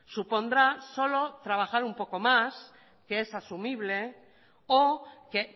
supondrá solo trabajar un poco más que es asumible o que